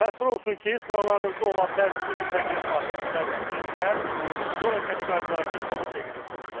Təəssüf olsun ki, sıralarınızda olan bəzi bu tip nəqliyyat vasitəsini idarə edən sürücülər yol hərəkəti qaydalarını kobud şəkildə pozurlar.